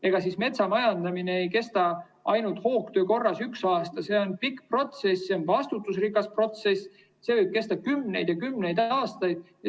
Ega siis metsamajandamine ei kesta ainult hoogtöö korras üks aasta, see on pikk protsess, see on vastutusrikas protsess, see võib kesta kümneid ja kümneid aastaid.